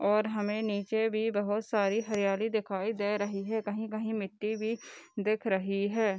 और हमें नीचे भी बहुत सारी हरियाली दिखाई दे रही है कहीं-कहीं मिट्टी भी दिख रही है।